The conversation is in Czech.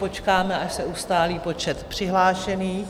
Počkáme, až se ustálí počet přihlášených.